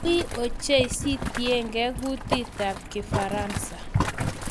Wiiy ochei sintegei kutitab kifaransa